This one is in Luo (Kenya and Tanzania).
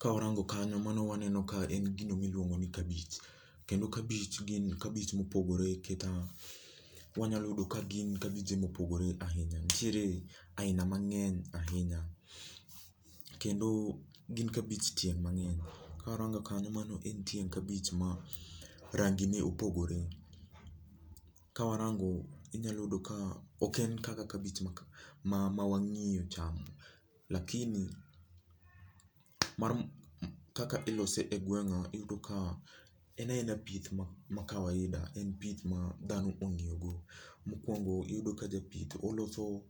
Kawarango kanyo mano waneno ka en gino miluongo ni kabich. Kendo kabich gin kabich mopogore keta, wanyalo yudo ka gin kabije mopogore ahinya nitiere aina mang'eny ahinya. Kendo gin kabich tieng' mang'eny. Kawarango kanyo mano en tieng' kabich ma rangi ne opogore Kawarango, inyalo yudo ka ok en kaka kabich ma ma mawang'iyo chamo lakini mar kaka ilose e gweng'a iyudo ka en aena pith ma ma kawaida en pith ma dhano ong'iyo go. Mokwongo iyudo ka japith oloso